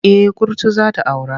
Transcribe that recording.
Eh kurtu za ta aura.